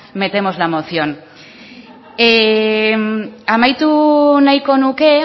metemos la moción amaitu nahiko nuke